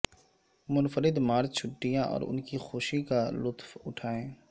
منفرد مارچ چھٹیاں اور ان کی خوشی کا لطف اٹھائیں